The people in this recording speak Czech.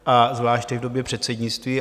A zvláště v době předsednictví.